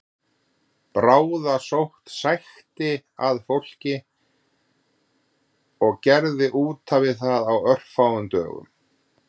Bráðasótt sækti að fólki og gerði útaf við það á örfáum dögum